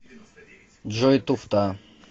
джой туфта